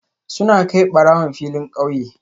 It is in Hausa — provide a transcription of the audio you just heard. Suna kai barawon filin kauye